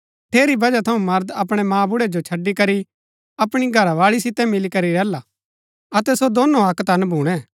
ठेरी वजह थऊँ मर्द अपणै मांबुड़ै जो छड़ी करी अपणी घरावाळी सितै मिलीकरी रैहला अतै सो दोनों अक्क तन भूणै